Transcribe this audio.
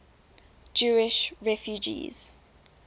jewish refugees